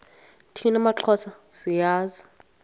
thina maxhosa siyazi